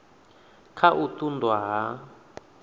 kha u ṱun ḓwa ha